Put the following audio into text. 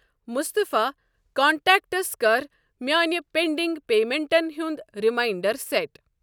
مُصطفیٰ contacts کَر میٲنۍ pending پیمنٹَن ہُنٛد ریمنانڑر سیٹ۔